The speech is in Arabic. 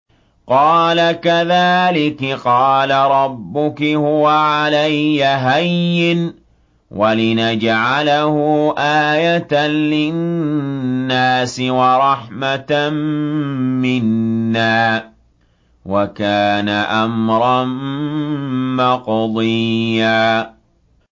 قَالَ كَذَٰلِكِ قَالَ رَبُّكِ هُوَ عَلَيَّ هَيِّنٌ ۖ وَلِنَجْعَلَهُ آيَةً لِّلنَّاسِ وَرَحْمَةً مِّنَّا ۚ وَكَانَ أَمْرًا مَّقْضِيًّا